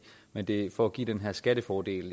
men det er for at give den her skattefordel